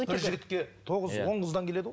бір жігітке тоғыз он қыздан келеді ғой